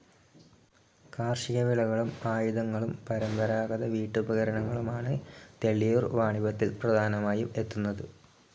കാർഷിക വിളകളും ആയുധങ്ങളും പരമ്പരാഗത വീട്ടുപകരണങ്ങളും ആണ് തെള്ളിയൂർ വാണിഭത്തിൽ പ്രധാനമായി എത്തുന്നത്.